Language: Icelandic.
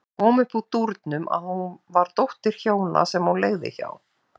Það kom upp úr dúrnum að hún var dóttir hjóna sem hún leigði hjá.